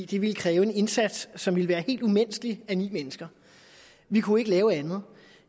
det ville kræve en indsats som ville være helt umenneskelig af ni mennesker vi kunne ikke lave andet